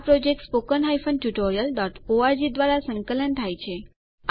આ project httpspoken tutorialorg દ્વારા સંકલન થાય છે